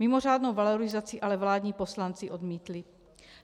Mimořádnou valorizaci ale vládní poslanci odmítli.